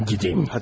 Mən gedeyim.